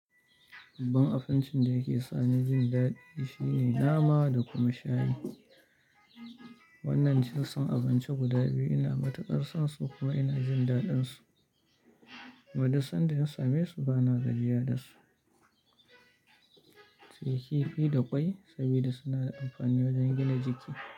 Babban abincin da yake sani jin daɗi shine nama da kuma shayi. Wannan jinsin abinci guda biyu ina matuƙar son su kuma ina jin daɗin su. Kuma duk sanda na same su bana gajiya da su. Sai kifi da ƙwai saboda suna da amfani wajen gina jiki.